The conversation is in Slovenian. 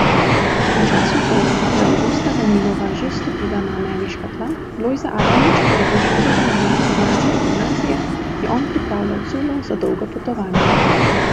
V času torej, ko je Avgusta Danilova že stopila na ameriška tla, Lojze Adamič pa je bil še priden dijak ljubljanske gimnazije, je on pripravljal culo za dolgo popotovanje.